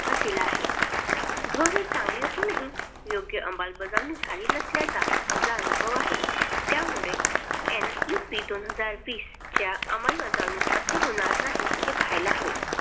भर दिला आहे. धोरण चांगले असून हि योग्य अंबलबजावणी झाली नसल्यानी अनुभव आहे. त्या मुळे NEP दोन हजार वीस च्या अंबलबजावणी असे होणार नाही हे पहिला हवे. .